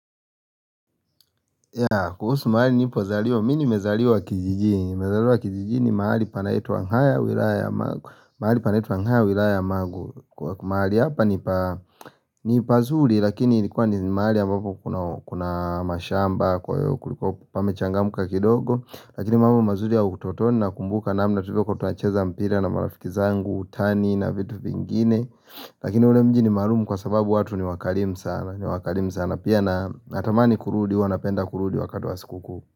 Ya kuhusu mahali nilipozaliwa mimi nimezaliwa kijijini nimezaliwa kijijini mahali panaitwa haya wilaya mahali panaitwa haya ni wilaya wa mangu Kwa mahali hapa ni pazuri lakini ilikuwa ni mahali ambapo kuna mashamba Kwa hiyo kulikuwa pamechangamka kidogo Lakini mambo mazuri ya utotoni nakumbuka namna tulivyokuwa tunacheza mpira na marafiki zangu utani na vitu vingine Lakini ule mji ni maalumu kwa sababu watu ni wakarimu sana ni wakarimu sana pia na natamani kurudi huwa napenda kurudi wakati wa sikukuu.